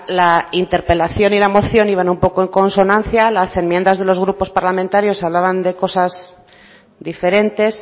la interpelación y la moción iban un poco en consonancia las enmiendas de los grupos parlamentarios hablaban de cosas diferentes